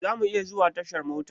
Za mu iya zuwa tashar mota?